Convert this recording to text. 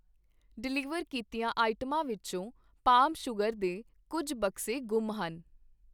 Deliver ਕੀਤੀਆਂ ਆਈਟਮਾਂ ਵਿੱਚੋਂ ਪਾਮ ਸੂਗਰ ਦੇ ਕੁੱਝ ਬਕਸੇ ਗੁੰਮ ਹਨ।